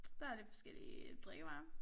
Der er lidt forskellige drikkevarer